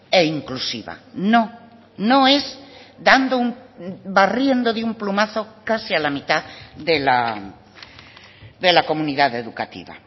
e inclusiva no no es dando un barriendo de un plumazo casi a la mitad de la comunidad educativa